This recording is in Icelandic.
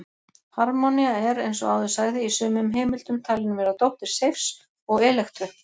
Harmonía er, eins og áður sagði, í sumum heimildum talin vera dóttir Seifs og Elektru.